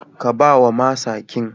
Ka ba wa masaqin.